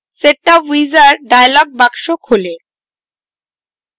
setup wizard dialog box খোলে